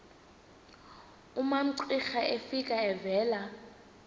umamcira efika evela